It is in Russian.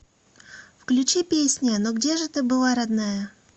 включи песня ну где же ты была родная